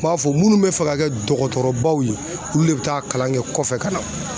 b'a fɔ munnu bɛ fɛ ka kɛ dɔgɔtɔrɔbaw ye olu le bɛ taa a kalan kɛ kɔfɛ ka na.